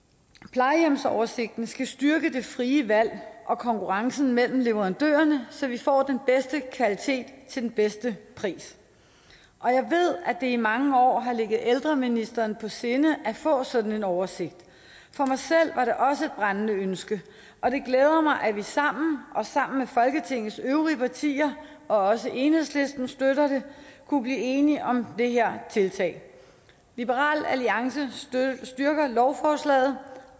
plejehjemsoversigten skal styrke det frie valg og konkurrencen mellem leverandørerne så vi får den bedste kvalitet til den bedste pris og jeg ved at det i mange år har ligget ældreministeren på sinde at få sådan en oversigt for mig selv var det også brændende ønske og det glæder mig at vi sammen og sammen med folketingets øvrige partier og også enhedslisten støtter det kunne blive enige om det her tiltag liberal alliance støtter lovforslaget